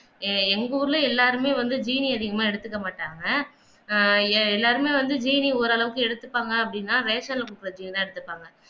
எங்க ஊருல எல்லாருமே வந்து ஜீனி அதிகமாக எடுத்துக்க மாட்டாங்க ஆஹ் எல்லாருமே வந்து ஜீனி ஓரளவுக்கு எடுத்துப்பாங்க அப்படின்னா ரேஷன்ல குடுக்கிற ஜீனி தான் எடுத்துப்பாங்க